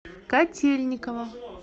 котельниково